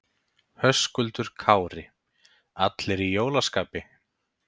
Höskuldur Kári: Allir í jólaskapi?